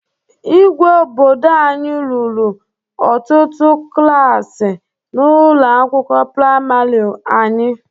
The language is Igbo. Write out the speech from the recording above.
Igwe obodo anyị rụrụ ọtụtụ klaasị na ụlọ akwụkwọ praimarị anyị.